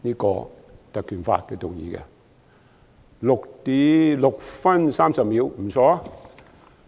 我的發言用了6分30秒，不錯。